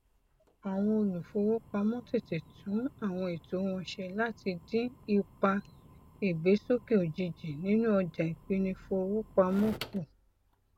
àwọn olùfowópamọ tètè tún àwọn ètò wọn ṣe láti dín ipa ìgbésókè ojijì nínú ọjà ìpínìfowópamọ kù